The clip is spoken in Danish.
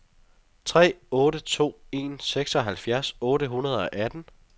tre otte to en seksoghalvfjerds otte hundrede og atten